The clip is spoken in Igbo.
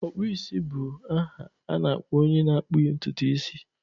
Ọkpụisi bụ aha na-akpọ onye na-akpụ ntutu isi